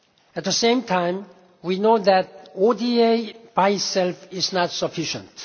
At the same time, we know that ODA by itself is not sufficient.